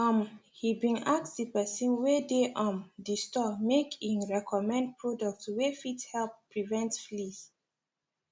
um he been ask the person wey dey um the store make e recommend products wey fit help prevent fleas